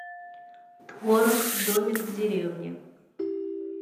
творог домик в деревне